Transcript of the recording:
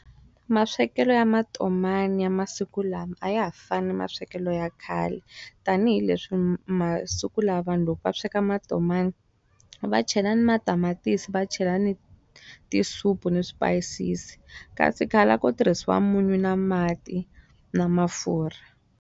Maswekelo ya matomani ya masiku lama a ya ha fani maswekelo ya khale. Tanihi leswi masiku lawa vanhu loko va sweka matomani, va chela ni matamatisi va chela ni tisupu ni swipayisisi. Kasi khale a ko tirhisiwa munyu na mati na mafurha.